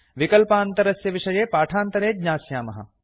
विकल्पान्तरस्य विषये पाठान्तरे ज्ञास्यामः